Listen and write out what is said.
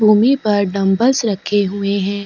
भूमि पर डम्बल्स रखे हुए है ।